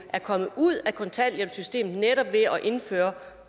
er kommet ud af kontanthjælpssystemet netop ved at vi har indført